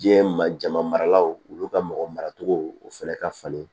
Diɲɛ ma jama maralaw olu ka mɔgɔ maracogo o fɛnɛ ka falen